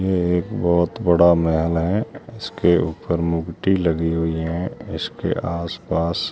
ये एक बहुत बड़ा महल है। इसके ऊपर मुकुटी लगी हुई है। इसके आसपास--